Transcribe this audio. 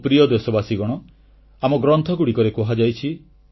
ମୋ ପ୍ରିୟ ଦେଶବାସୀଗଣ ଆମ ଗ୍ରନ୍ଥଗୁଡ଼ିକରେ କୁହାଯାଇଛି